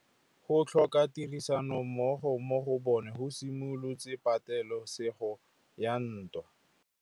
Go tlhoka tirsanommogo ga bone go simolotse patêlêsêgô ya ntwa.